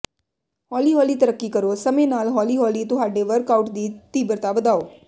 ਹੌਲੀ ਹੌਲੀ ਤਰੱਕੀ ਕਰੋ ਸਮੇਂ ਨਾਲ ਹੌਲੀ ਹੌਲੀ ਤੁਹਾਡੇ ਵਰਕਆਉਟ ਦੀ ਤੀਬਰਤਾ ਵਧਾਓ